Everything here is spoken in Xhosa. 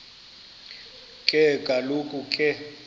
ke kaloku ke